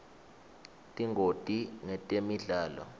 tingoti ngetemidlalo